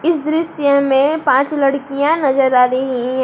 इस दृश्य में पांच लड़कियां नजर आ रही है।